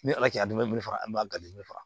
Ni ala cɛ dumuni faga an b'a gale faga